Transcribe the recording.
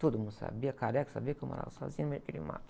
Todo mundo sabia, careca, sabia que eu morava sozinha no meio daquele mato.